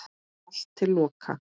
Allt til loka.